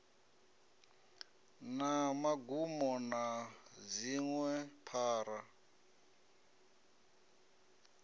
na magumo na dziṅwe phara